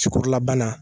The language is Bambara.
Ci kɔrɔla bana